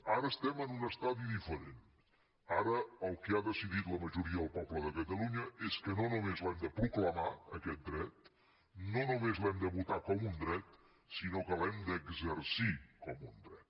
ara estem en un estadi diferent ara el que ha decidit la majoria del poble de catalunya és que no només l’hem de proclamar aquest dret no només l’hem de votar com un dret sinó que l’hem d’exercir com un dret